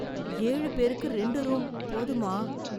ஏழு பேருக்கு ரெண்டு ரூம். போதுமா?